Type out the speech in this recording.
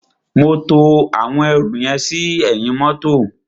Mo to àwọn ẹrù yẹn sí ẹ̀yìn mọ́tọ̀.